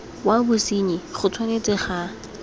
wa bosenyi go tshwanetse ga